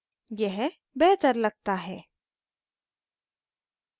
यह बेहतर लगता है